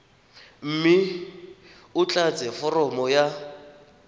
mme o tlatse foromo ya